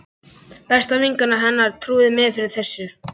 Besta vinkona hennar trúði mér fyrir þessu.